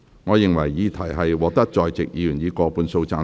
我認為議題獲得在席議員以過半數贊成。